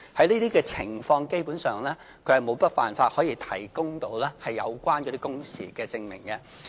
在這個情況下，基本上他們沒有辦法可以提供有關的工時證明。